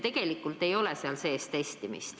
Tegelikult ei ole testimist seaduses sees.